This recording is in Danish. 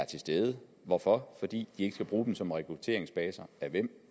til stede hvorfor fordi de ikke skal bruge dem som rekrutteringsbaser af hvem